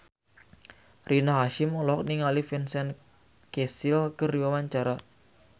Rina Hasyim olohok ningali Vincent Cassel keur diwawancara